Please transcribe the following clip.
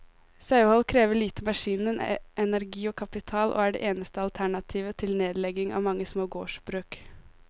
Sauehold krever lite maskiner, energi og kapital, og er det eneste alternativet til nedlegging av mange små gårdsbruk.